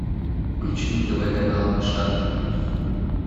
включи на тв канал шанс ньюс